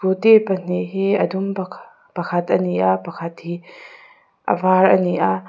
scooty pahnih hi a dum pakhat a ni a pakhat hi a var a ni a.